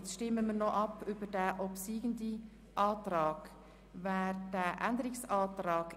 Jetzt stimmen wir darüber ab, ob Sie den Änderungsantrag 4 wirklich annehmen wollen.